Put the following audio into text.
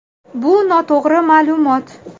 Bu noto‘g‘ri ma’lumot.